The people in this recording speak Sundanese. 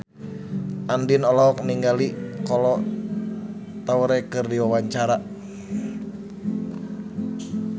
Andien olohok ningali Kolo Taure keur diwawancara